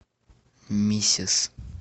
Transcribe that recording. мисис